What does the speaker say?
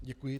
Děkuji.